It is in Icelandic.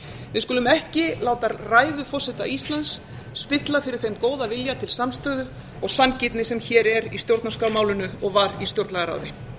við skulum ekki láta ræður forseta íslands spilla fyrir þeim góða vilja til samstöðu og sanngirni sem hér er í stjórnarskrármálinu og var í stjórnlagaráði